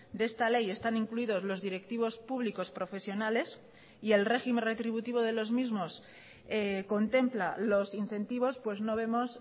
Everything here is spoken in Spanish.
de esta ley están incluidos los directivos públicos profesionales y el régimen retributivo de los mismos contempla los incentivos pues no vemos